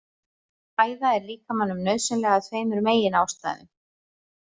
Fæða er líkamanum nauðsynleg af tveimur meginástæðum.